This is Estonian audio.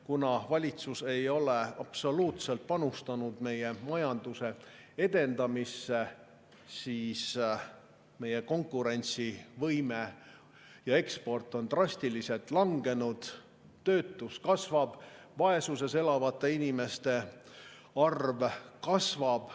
Kuna valitsus ei ole absoluutselt panustanud meie majanduse edendamisse, siis on meie konkurentsivõime ja eksport drastiliselt langenud, töötus kasvab, vaesuses elavate inimeste arv kasvab.